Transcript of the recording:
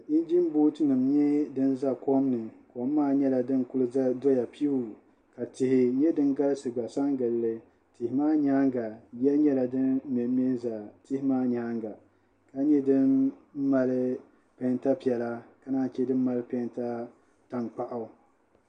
Injin booti nim n nyɛ din kuli ʒɛ kom ni kom maa nyɛla din ku doya piiu ka tihi nyɛ din galisi galisi n gilli tihi maa nyaanga yiya nyɛla din mɛnmɛ ʒɛ tihi maa nyaanga ka nyɛ din mali peenta piɛla ka naan chɛ din mali peenta tankpaɣu